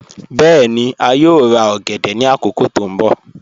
Bẹẹ̀ni, a yòò rà ogèdè ni akókò tó nbọ̀.